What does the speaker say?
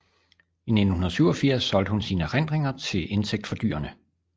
I 1987 solgte hun sine erindringer til indtægt for dyrene